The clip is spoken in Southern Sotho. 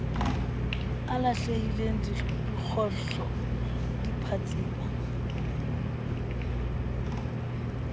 alehileng dikgohlo di a phatsima